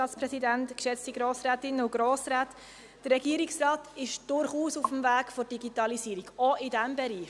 Der Regierungsrat ist durchaus auf dem Weg zur Digitalisierung, auch in diesem Bereich.